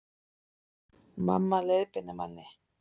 Mamma leiðbeinir manni